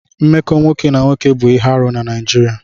Mmekọ nwoke na nwoke bụ ihe arụ na Naịjirịa.